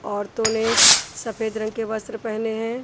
ओरतो ने सफ़ेद रंग के वस्त्र पहने हैं।